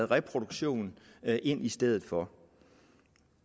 reproduktion ind i stedet for